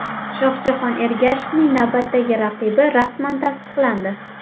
Shohjahon Ergashevning navbatdagi raqibi rasman tasdiqlandi.